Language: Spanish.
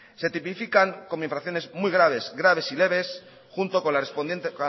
se tipifican con infracciones muy graves graves y leves